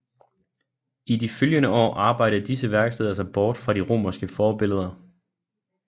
I de følgende år arbejdede disse værksteder sig bort fra de romerske forbilleder